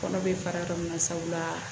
Kɔnɔ bɛ fara yɔrɔ min na sabula